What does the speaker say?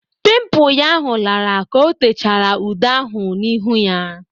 Pịmpu ya h u ,ka ọ techara ude ahu n'ịhu ya.